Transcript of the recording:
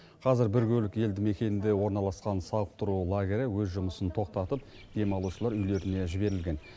қазір біркөлік елді мекенінде орналасқан сауықтыру лагері өз жұмысын тоқтатып демалушылар үйлеріне жіберілген